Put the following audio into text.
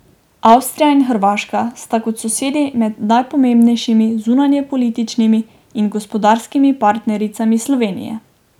Avstrija in Hrvaška sta kot sosedi med najpomembnejšimi zunanjepolitičnimi in gospodarskimi partnericami Slovenije.